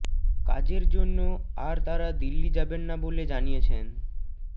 কাজের জন্য আর তারা দিল্লি যাবেন না বলে জানিয়েছেন